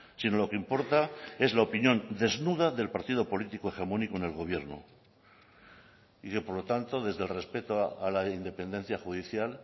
sino lo que importa es la opinión desnuda del partido político hegemónico en el gobierno y que por lo tanto desde el respeto a la independencia judicial